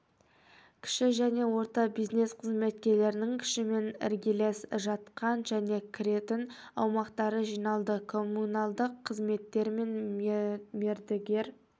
кіші және орта бизнес қызметкерлерінің күшімен іргелес жатқан және кіретін аумақтары жиналды коммуналдық қызметтер мен мердігер